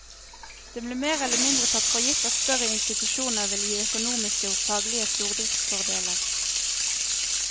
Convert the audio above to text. Det ble mer eller mindre tatt for gitt at større institusjoner ville gi økonomiske og faglige stordriftsfordeler.